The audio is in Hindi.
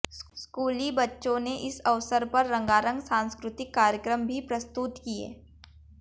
स्कूली बच्चों ने इस अवसर पर रंगारंग सांस्कृतिक कार्यक्रम भी प्रस्तुत किये